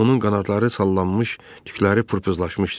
Onun qanadları sallanmış, tükləri pırpızlaşmışdı.